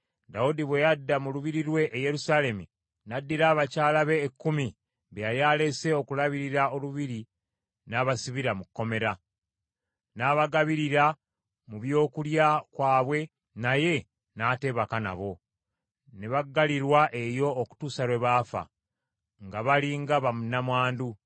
Dawudi bwe yadda mu lubiri lwe e Yerusaalemi, n’addira abakyala be ekkumi be yali alese okulabirira olubiri n’abasibira mu kkomera. N’abagabirira mu byokulya kwabwe, naye n’atebaka nabo. Ne baggalirwa eyo okutuusa lwe baafa, nga bali nga bannamwandu.